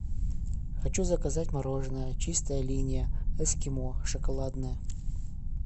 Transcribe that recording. хочу заказать мороженое чистая линия эскимо шоколадное